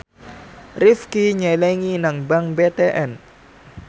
Rifqi nyelengi nang bank BTN